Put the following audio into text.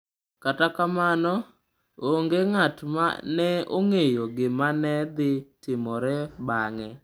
Kata kamano, onge ng’at ma ne ong’eyo gima ne dhi timore bang’e.